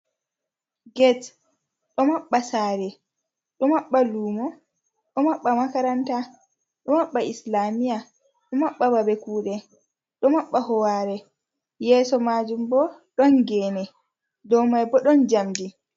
Gate ɗo maɓɓa saare, ɗo maɓɓa lumo, ɗo maɓɓa makaranta, ɗo maɓɓa Islamia, do maɓɓa babe kuɗe, ɗo maɓɓa howare, yeso majum bo ɗon gene, dou mai bo ɗon jamdi.